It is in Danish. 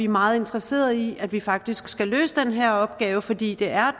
meget interesserede i at vi faktisk skal løse den her opgave fordi det er